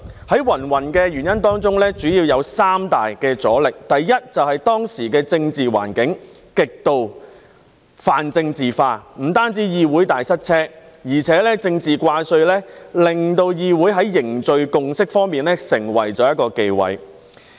在芸芸原因當中，主要有三大阻力，第一，就是當時的政治環境極度泛政治化，不單議會大塞車，而且政治掛帥亦令議會在凝聚共識方面成為了一個忌諱。